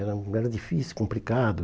Era era difícil, complicado.